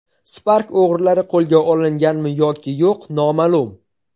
Spark o‘g‘rilari qo‘lga olinganmi yoki yo‘q noma’lum .